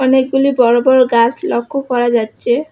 অনেকগুলি বড় বড় গাছ লক্ষ্য করা যাচ্ছে।